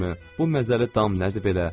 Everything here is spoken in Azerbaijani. Bu məzəli dam nədir belə?